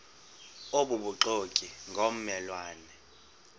obubuxoki ngomme lwane